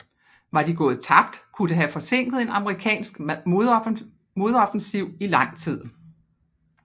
Var de gået tabt kunne det have forsinket en amerikansk modoffensiv i lang tid